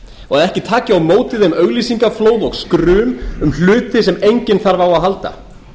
og ekki taki á móti því auglýsingaflóð og skrum um hluti sem enginn þarf á að halda